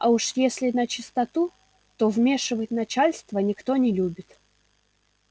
а уж если начистоту то вмешивать начальство никто не любит